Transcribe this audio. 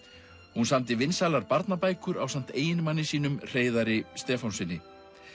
hún samdi vinsælar barnabækur ásamt eiginmanni sínum Hreiðari Stefánssyni